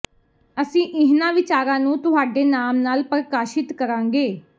ਅਸੀਂ ਇਹਨਾਂ ਵਿਚਾਰਾਂ ਨੂੰ ਤੁਹਾਡੇ ਨਾਮ ਨਾਲ ਪ੍ਰਕਾਸ਼ਿਤ ਕਰਾਂਗੇ